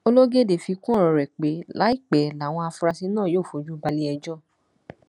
ológọdé fi kún ọrọ rẹ pé láìpẹ làwọn afurasí náà yóò fojú balẹẹjọ